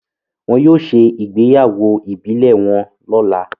Wón yóò ṣe ìgbéyàwó ibilẹ wón lọla